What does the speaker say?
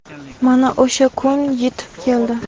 mana o‘sha kun yetib keldi.